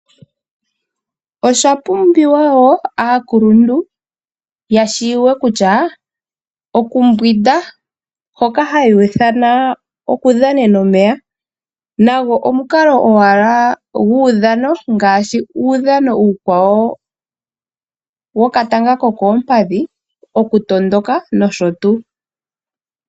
Oshasimana woo kaakuluntu yatseye kutya okumbwinda hoka haya ithana okudhanena omeya nago omukalo owala guudhanongaashi uudhano uukwawo wokatanga kokoompadhi ,okutondoka nosho tuu.